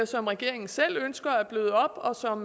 som regeringen selv ønsker at bløde op og som